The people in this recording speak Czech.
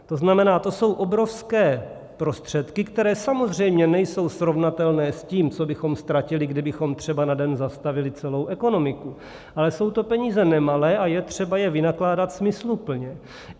To znamená, to jsou obrovské prostředky, které samozřejmě nejsou srovnatelné s tím, co bychom ztratili, kdybychom třeba na den zastavili celou ekonomiku, ale jsou to peníze nemalé a je třeba je vynakládat smysluplně.